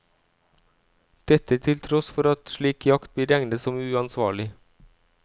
Dette til tross for at slik jakt blir regnet som uansvarlig.